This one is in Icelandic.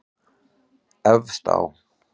Efst á